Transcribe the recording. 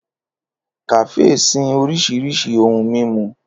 Kafe sin orisirisi ohun mimu.